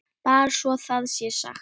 Bara svo það sé sagt.